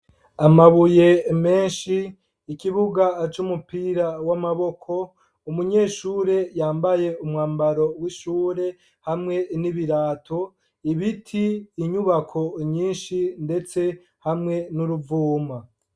Amabuye menshi, ikibuga c'umupira w'amaboko, umunyeshure yambaye umwambaro w'ishure hamwe n'ibirato ibiti inyubako nyinshi ndetse hamwe n'uruvuma.